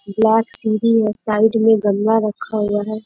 Black सीढ़ी है। Side में गमला रखा हुआ है।